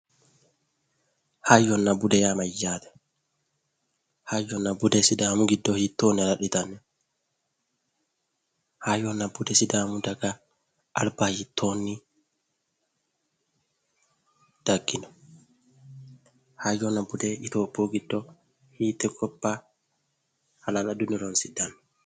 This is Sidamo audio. Hayyonna bude yaa mayyaate? hayyonna budu Sidaamu giddo hiittoonne hala'litanno? hayyonna bude alba sidaamu daga daggino? hayyonnabbude itophiyu giddo hiitte gobba hala'ladunni horonsidhanno?